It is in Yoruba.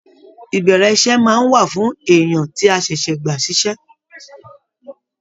Ìbẹrẹ iṣẹ máa n wà fún èèyàn tí a ṣẹṣẹ gbà ṣiṣẹ.